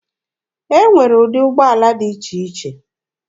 Enwere ụdị ụgbọala dị iche iche.